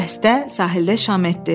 Dəstə sahildə şam etdi.